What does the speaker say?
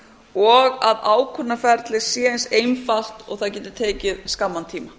og að ákvörðunarferlið sé eins einfalt og það geti tekið skamman tíma